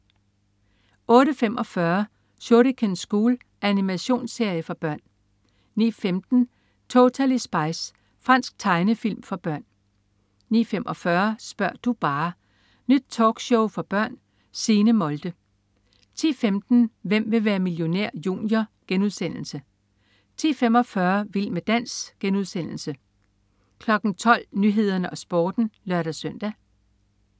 08.45 Shuriken School. Animationsserie for børn 09.15 Totally Spies. Fransk tegnefilm for børn 09.45 Spør' nu bare! Nyt talkshow for børn. Signe Molde 10.15 Hvem vil være millionær? Junior* 10.45 Vild med dans* 12.00 Nyhederne og Sporten (lør-søn)